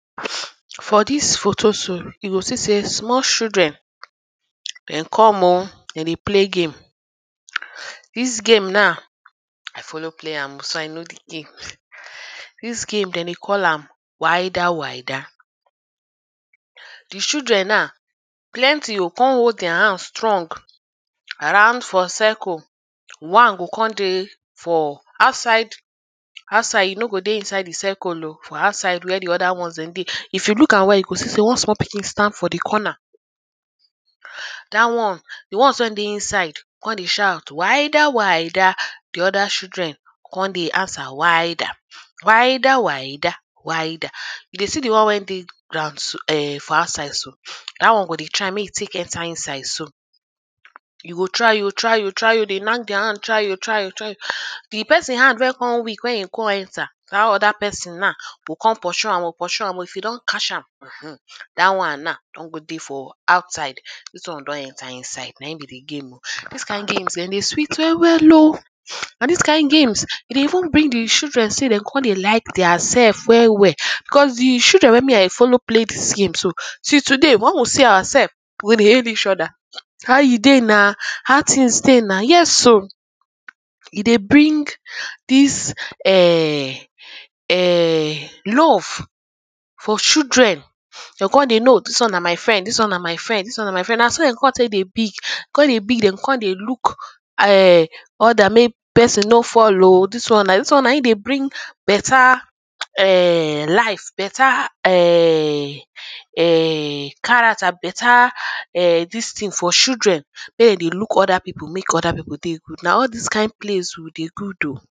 For dis photo so, you go see sey small children dem come oh. Dem dey play game. Dis game now i follow play am. So i know the game. Dis game dem dey call am wider wider. Er the children now plenty oh, con hold their hands strong around for circle. One go con dey for outside outside. E no go dey inside the circle oh. For outside where the other ones dem dey. If you look am well you go see sey one small pikin stand for the corner. Dat one, the ones wey dey inside con dey shout, wider wider. The other children con dey answer wider. Wider wider, wider. You dey see the one wey dey ground ern for outside so? Dat one go dey try make e take enter inside so. You go try oh try oh try oh dey mind their hand try oh try oh. Ern the person hand don con weak when you con enter, dat other person now go con pursue am pursue am oh. If e don catch am? erm erm dat one now don go dey for outside, dis one don enter inside. Na im be the game oh. Dis kind game ern e dey sweet well well oh. Na dis kind game, e dey even bring the children sey dem con dey like their self well well. Urh cos the children wey me i follow play dis game so, till today when we see ourselves, we dey hail eachother. How you dey now? how things dey now? Yes oh. E dey bring dis ern ern love for children. De con dey know, dis one na my friend, dis one na my friend dis one na my friend. Na so de con take dey be, con de be. De go con dey look ern all their main person no fall oh. Dis one na, dis one na im dey bring better ern life. Better ern character. Better ern dis thing for children make e dey look other people. Make other people dey good. Na all dis kind place weh dey good oh.